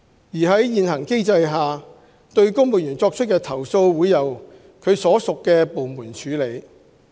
而在現行既定機制下，對公務員作出的投訴會由其所屬部門處理。